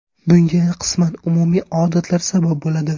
Bunga qisman umumiy odatlar sabab bo‘ladi.